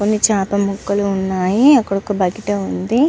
కొన్ని చేపల ముక్కల్లు వున్నాయ్ అక్కడ ఒక బకెట్ వుంది.